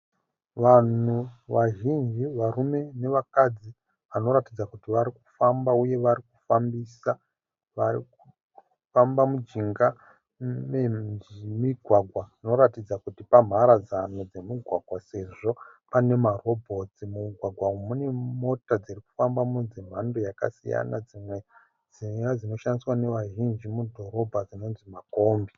Vanhu vazhinji varume nevakadzi vanoratidza kuti varikufamba uye warikufambisa warikufamba mujinga memumugwagwa unoratidza kuti pamharadzano dzemugwagwa sezvo pane marobhotsi mumugwagwa uyu mune Mota dzirikufambamo dzemhando yakasiyana dzimwe dzinowa dzinoshandiswa ne vazhinji mudhorobha dzinonzi makombi